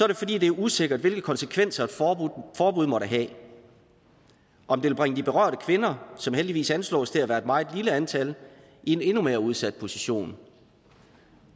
det fordi det er usikkert hvilke konsekvenser et forbud måtte have om det vil bringe de berørte kvinder som heldigvis anslås til at være et meget lille antal i en endnu mere udsat position